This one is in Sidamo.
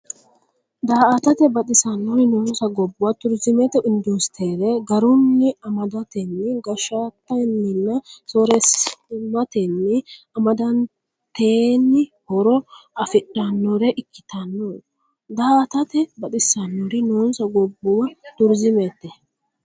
Daa”atate baxisannori noonsa gobbuwa turizimete industire garunni ama- datenni, gashshatenninna sooreessimatenni amadatenni horo afidhannore ikkitanno Daa”atate baxisannori noonsa gobbuwa turizimete.